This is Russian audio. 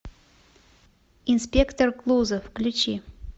инспектор клузо включи